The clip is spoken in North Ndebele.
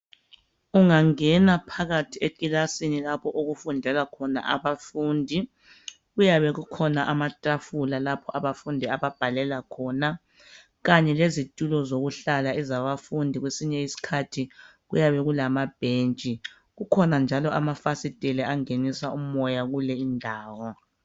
Ungangena phakathi ekilasini lapho okufundela khona abafundi kuyabe kukhona amatafula lapho abafundi ababhalela khona kanye lezitulo zokuhlala ezabafundi kwesinye isikhathi kuyabe kulamabhentshi kukhona njalo amafasitela angenisa umoya kule indawo